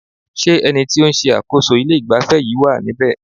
Ṣé ẹni tí o ń ṣe àkóso ilé ìgbafẹ́ yìí wá níbe?